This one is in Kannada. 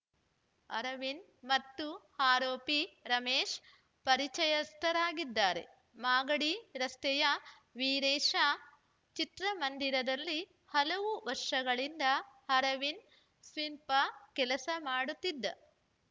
ಅರವಿಂದ್‌ ಮತ್ತು ಆರೋಪಿ ರಮೇಶ್‌ ಪರಿಚಯಸ್ಥರಾಗಿದ್ದಾರೆ ಮಾಗಡಿ ರಸ್ತೆಯ ವೀರೇಶ ಚಿತ್ರಮಂದಿರದಲ್ಲಿ ಹಲವು ವರ್ಷಗಳಿಂದ ಅರವಿಂದ್‌ ಸ್ಪೀಪರ್‌ ಕೆಲಸ ಮಾಡುತ್ತಿದ್ದ